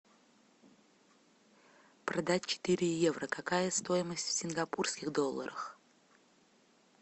продать четыре евро какая стоимость в сингапурских долларах